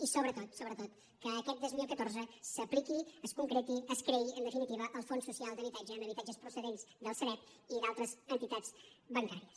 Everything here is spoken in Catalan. i sobretot sobretot que aquest dos mil catorze s’apliqui es concreti es creï en definitiva el fons social d’habitatge amb habitatges procedents del sareb i d’altres entitats bancàries